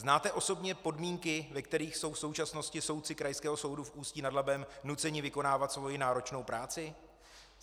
Znáte osobně podmínky, ve kterých jsou v současnosti soudci Krajského soudu v Ústí nad Labem nuceni vykonávat svoji náročnou práci?